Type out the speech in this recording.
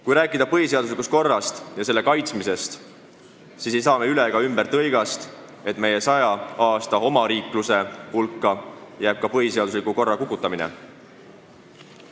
Kui rääkida põhiseaduslikust korrast ja selle kaitsmisest, siis ei saa üle ega ümber tõigast, et meie 100 aasta pikkuse omariikluse aega jääb ka põhiseadusliku korra kukutamine.